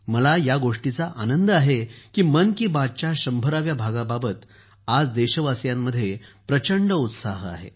मला या गोष्टीचा आनंद आहे की मन की बात च्या शंभराव्या भागाबाबत आज देशवासियांमध्ये प्रचंड उत्साह आहे